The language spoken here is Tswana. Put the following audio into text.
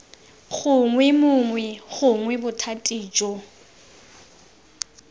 gongwe mongwe gongwe bothati jo